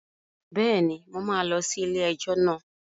Bẹ́ẹ̀ni, mo máa lọ sí ilé-ẹjọ́ náà